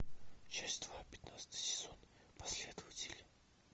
часть два пятнадцатый сезон последователи